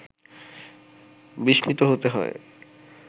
বিস্মিত হতে হয়